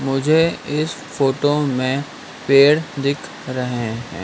मुझे इस फोटो में पेड़ दिख रहे हैं।